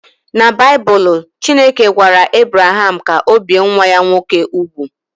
Na Baịbụl, Chineke gwara Ebraham ka o bie nwa ya nwoke úgwù